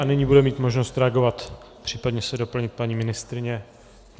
A nyní bude mít možnost reagovat, případně se doplnit paní ministryně.